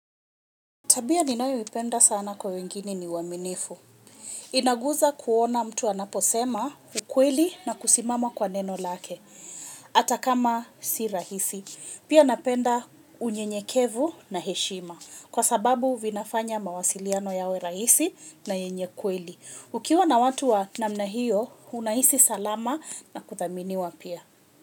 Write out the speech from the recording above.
Tabia ninayo ipenda sana kwa wengine ni uaminifu. Inaguza kuona mtu anaposema ukweli na kusimama kwa neno lake. Hata kama si rahisi. Pia napenda unyenyekevu na heshima. Kwa sababu vinafanya mawasiliano yawe rahisi na yenyekweli. Ukiwa na watu wa namna hiyo, unahisi salama na kuthaminiwa pia.